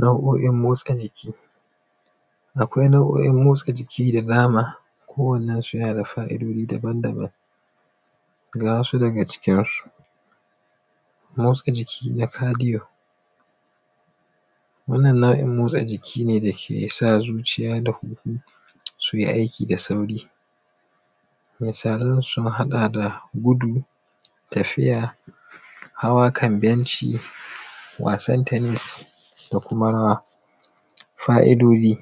Nau’o’in motsa jiki, akwai nau’o’in motsa jiki da dama, kowannen su yana da fa’I’dodi daba-daban. Ga wasu daga cikin su, motsa jiki na kadiyon wannan nau’in motsa jiki ne da ke sa zuciya da huhu su yi aiki da sauri, misalan su, sun haɗa da gudu, tafiya, haw a kan bencj, wasan tenis da kuma rawa. Fa’idoci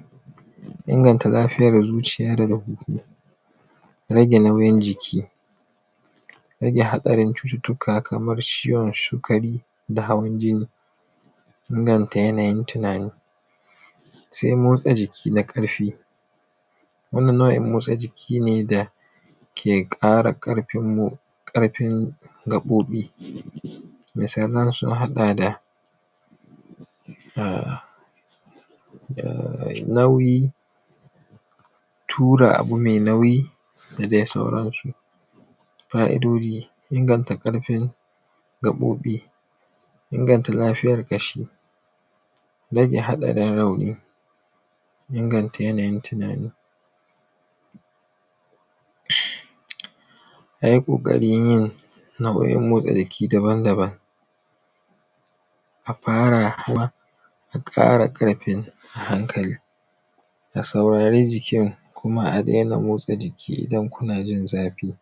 inganta lafiyar zuciya da huhu, rage mauyin jiki, rage haɗarin cututtuka kaar ciwon sikari, da hawan jinni, inganta yanayin tunani. Sai motsa jiki na ƙarfi wannan nau’in motsa jiki ne da ke ƙara ƙarfin gaɓoɓi, misalan sun haɗa da, ah ah nauyi, tura abu mai nauyi, da dai sauransu. Fa’idoci inganta ƙarfin gaɓoɓi, inganta lafiyar ƙashi, rage haɗarin rauni, ingsnta yanayin tunani. A yi ƙaƙarin yin nau’o’in motsa jiki daban daban. farawa a ƙara ƙarfi hankali, a saurari jikin, kuma a daina motsa jiki idan kuna jin zafi.